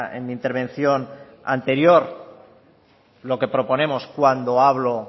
en mi intervención anterior lo que proponemos cuando hablo